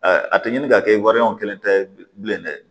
a tɛ ɲini ka kɛ wari kelen ta ye bilen dɛ